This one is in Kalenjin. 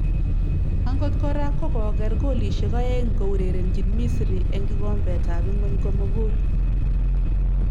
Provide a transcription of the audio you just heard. Angot kora ko kogeer golishek aeng' kourerenjin Misri eng' kikombet ab ingwony komugul